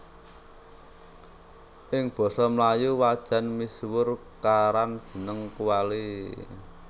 Ing basa melayu wajan misuwur karan jeneng kuali